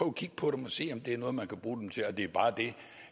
at kigge på dem og se om man kan bruge dem til noget det er bare det